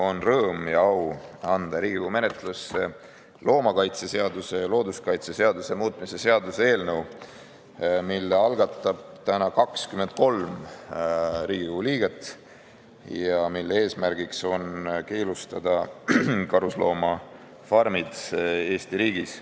On rõõm ja au anda Riigikogu menetlusse loomakaitseseaduse ja looduskaitseseaduse muutmise seaduse eelnõu, mille algatab täna 23 Riigikogu liiget ja mille eesmärk on keelustada karusloomafarmid Eesti riigis.